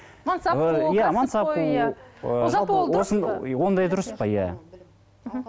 мансап қуу иә мансап қуу ондай дұрыс па иә мхм